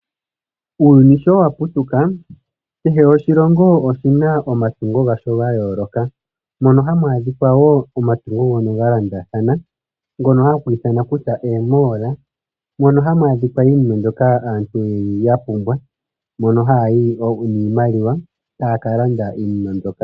Uuyuni sho wa putuka kehe oshilongo oshina omatungo gasho ga yooloka mono hamu adhika wo omatungo ngono ga londathana, ngono haku ithanwa kutya eeMall mono hamu adhika iinima mbyoka aantu yeli ya pumbwa, mono haya yi niimaliwa taya ka landa iinima mbyoka.